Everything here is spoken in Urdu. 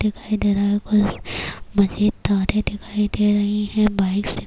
دکھایی دے رہا ہے بس مزید ترین دکھایی دے رہا ہے،